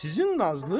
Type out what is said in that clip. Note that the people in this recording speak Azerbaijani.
Sizin Nazlı?